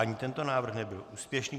Ani tento návrh nebyl úspěšný.